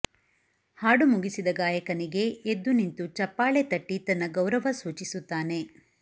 ಹಾಡು ಮುಗಿಸಿದ ಗಾಯಕನಿಗೆ ಎದ್ದು ನಿಂತು ಚಪ್ಪಾಳೆ ತಟ್ಟಿ ತನ್ನ ಗೌರವ ಸೂಚಿಸುತ್ತಾನೆ